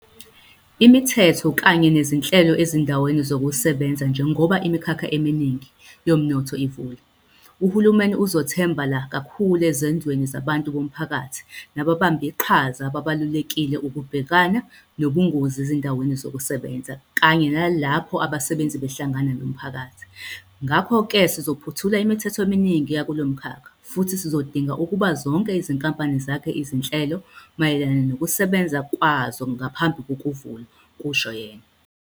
Imithetho kanye nezinhlelo ezindaweni zokusebenzaNjengoba imikhakha eminingi yomnotho ivula, uhulumeni uzothembe la kakhulu ezenzweni zabantu bomphakathi nababambiqhaza ababalulekile ukubhekana nobungozi ezindaweni zokusebenza kanye nalapho abasebenzi behlangana nomphakathi. "Ngakho-ke sizophothula imithetho eminingi yakulomkhakha futhi sizodinga ukuba zonke izinkampani zakhe izinhlelo mayelana nokusebenza kwazo ngaphambi kokuvulwa," kusho yena.